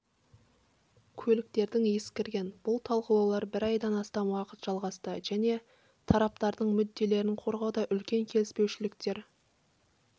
көліктердің ескірген бұл талқылаулар бір айдан астам уақыт жалғасты және тараптардың мүдделерін қорғауда үлкен келіспеушіліктер